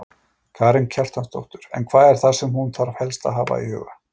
Karen Kjartansdóttir: En hvað er það sem hún þarf helst að hafa í huga?